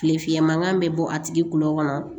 Tile fiyɛ mankan bɛ bɔ a tigi kulo kɔnɔ